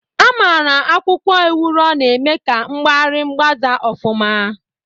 A mara akwụkwọ Ewuro na-eme ka mgbari mgbaze ofuma.